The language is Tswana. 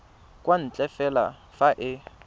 kwa ntle fela fa e